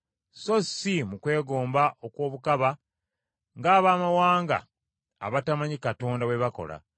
so si mu kwegomba okw’obukaba ng’abamawanga abatamanyi Katonda bwe bakola.